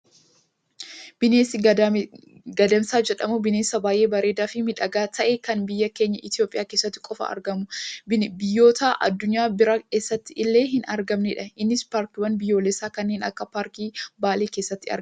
Bineensi gadamsa jedhamu, bineensa baayyee bareedaa fi miidhagaa ta'e kan biyya keenya Itoophiyaa keessatti qofa argamu, biyyoota addunyaa biraa eessatti illee hin argamnedha. Innis paarkiiwwan biyyoolessaa kanneen akka paarkii baalee keessatti argama.